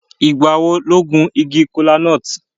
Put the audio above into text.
Ìgbà wo lo gun igi kola-nut?